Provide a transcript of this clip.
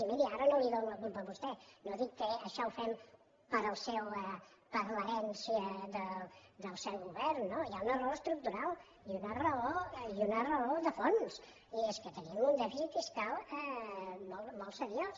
i miri ara no li dono la culpa a vostè no dic que això ho fem per l’herència del seu govern no hi ha una raó estructural i una raó de fons i és que tenim un dèficit fiscal molt seriós